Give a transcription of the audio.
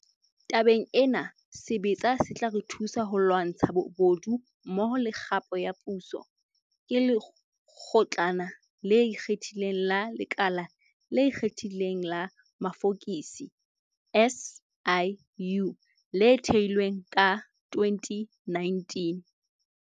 Tabeng ena, sebetsa se tla re thusa ho lwantsha bobodu mmoho le kgapo ya puso, ke Lekgotlana le Ikgethileng la Lekala le Ikgethileng la Mafokisi, SIU, le thehilweng ka 2019.